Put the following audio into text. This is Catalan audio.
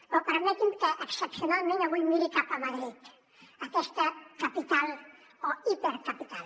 però permeti’m que excepcionalment avui miri cap a madrid aquesta capital o hipercapital